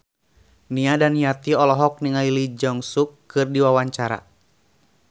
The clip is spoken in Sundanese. Nia Daniati olohok ningali Lee Jeong Suk keur diwawancara